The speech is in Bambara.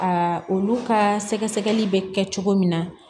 Aa olu ka sɛgɛsɛgɛli bɛ kɛ cogo min na